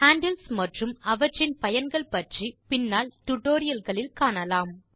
handles மற்றும் அவற்றின் பயன்கள் பற்றி பின்னால் டியூட்டோரியல் களில் காணலாம்